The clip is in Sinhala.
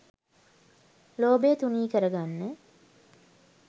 ලෝභය තුනී කරගන්න